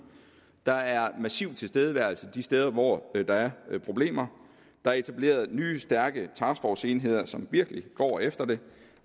der er en massiv tilstedeværelse de steder hvor der er problemer der er etableret nye stærke taskforceenheder som virkelig går efter det